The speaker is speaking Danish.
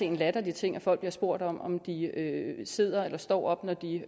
en latterlig ting at folk bliver spurgt om om de sidder eller står op når de